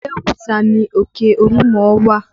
Abeokuta ni òkè olúmọ wà